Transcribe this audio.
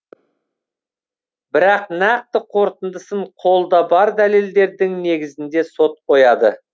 бірақ нақты қорытындысын қолда бар дәлелдердің негізінде сот қояды